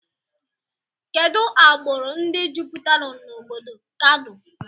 Kedụ agburu ndị juputere n' obodo Kano?